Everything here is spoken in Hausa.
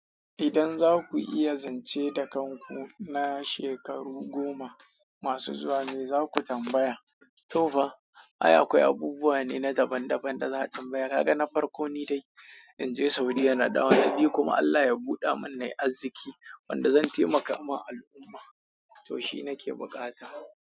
Idan za ku iya zance da kanku na shekaru goma masu zuwa me za ku tambaya? To fa, ai akwai abubuwa ne na daban-daban da za a tambaya. Kaga na farko nide inje saudiyya nadawo na biyu kuma Allah ya buɗa min nai arziƙi wanda zan taimaka wa al'umma to shi nake buƙata.